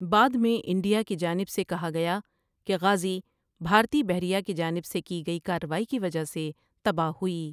بعد میں انڈیا کی جانب سے کہا گیا کہ غازی بھارتی بحریہ کی جانب سے کی گئی کارروائی کی وجہ سے تباہ ہوئی۔